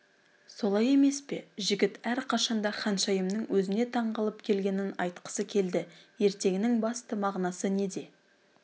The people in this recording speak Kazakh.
солай емес пе жігіт әрқашан да ханшайымның өзіне таңғалып келгенін айтқысы келді ертегінің басты мағынасы неде